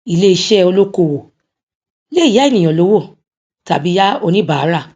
ilé iṣẹ olókoòwò lè yá ènìyàn lówó tàbí yá oníbàárà